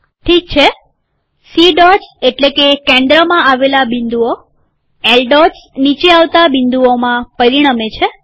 ઠીક છે C dots એટલે કે કેન્દ્રમાં આવેલા બિંદુઓ એલ ડોટ્સ નીચે આવતા બિંદુઓમાં પરિણમે છે